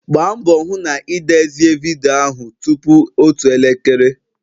Gbaa mbọ hụ na ị dezie vidiyo ahụ tupu otu elekere